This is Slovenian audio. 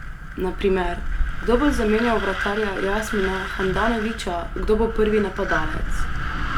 Na primer, kdo bo zamenjal vratarja Jasmina Handanovića, kdo bo prvi napadalec?